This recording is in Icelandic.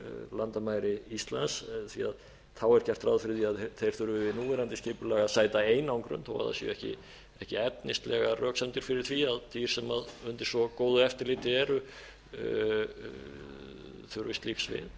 landamæri íslands því þá er gert ráð fyrir því að þeir þurfi við núverandi skipulag að sæta einangrun þó það séu ekki efnislegar röksemdir fyrir því að dýr sem undir svo góðu eftirliti eru þurfi slíks við